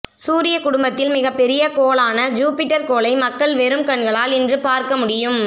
சூரியக் குடும்பத்தில் மிகப்பெரிய கோளாலான ஜூபிடர் கோளை மக்கள் வெறும் கண்களால் இன்று பார்க்கமுடியும்